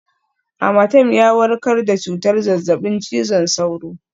Amatem ya warkar da cutar zazzabin cizon sauro